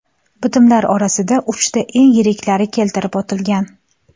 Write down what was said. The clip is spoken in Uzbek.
Bitimlar orasida uchta eng yiriklari keltirib o‘tilgan.